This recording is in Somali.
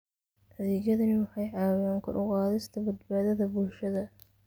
Adeegyadani waxay caawiyaan kor u qaadista badbaadada bulshada.